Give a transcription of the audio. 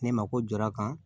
Ne ma ko jɔra a kan